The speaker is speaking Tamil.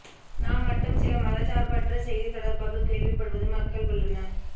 நாம் மட்டும் சில மதச்சார்பற்ற செய்தி தொடர்பாக கேள்விப்படுவது மக்கள் உள்ளன